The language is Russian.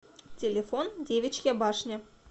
телефон девичья башня